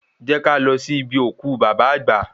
Jẹ́ ká lọ sí ibi òkú bàbá àgbà